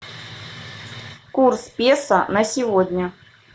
курс песо на сегодня